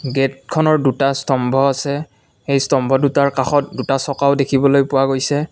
গেটখনৰ দুটা স্তম্ভ আছে এই স্তম্ভ দুটাৰ কাষত দুটা চকাও দেখিবলৈ পোৱা গৈছে।